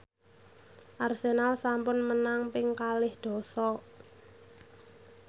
Arsenal sampun menang ping kalih dasa